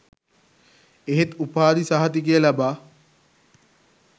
එහෙත් උපාධි සහතිකය ලබා